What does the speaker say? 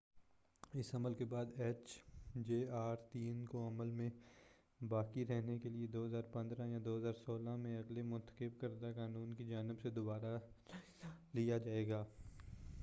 اس عمل کے بعد ایچ جے آر3 کو عمل میں باقی رہنے کے لیے 2015ء یا 2016ء میں اگلے منتخب کردہ قانون کی جانب سے دوبارہ جائزہ لیا جائے گا